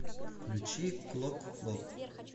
включи клокклок